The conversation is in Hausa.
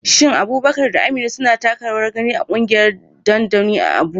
Shin Abubakar da Amina suna taka rawar gani a kungiyar dodanni a Abuja?